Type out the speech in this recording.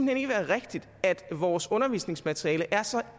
hen ikke være rigtigt at vores undervisningsmateriale er så